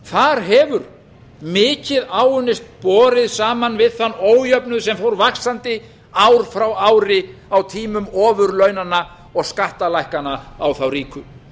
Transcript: þar hefur mikið áunnist borið saman við þann ójöfnuð sem fór vaxandi ár frá ári á tímum ofurlaunanna og skattalækkana á þá ríku